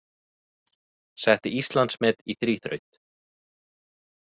Setti Íslandsmet í þríþraut